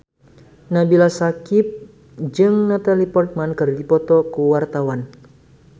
Nabila Syakieb jeung Natalie Portman keur dipoto ku wartawan